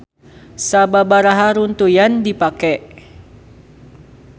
Sababaraha runtuyan dipake.